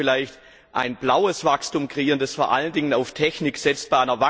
Wir sollten vielleicht ein blaues Wachstum kreieren, das vor allen Dingen auf Technik setzt.